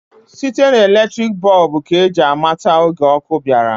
Site na eletriki bọb ka ji amata oge ọkụ bịara.